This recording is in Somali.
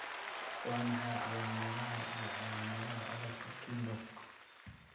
Waa maxay calaamadaha iyo calaamadaha cudurka Kienbock?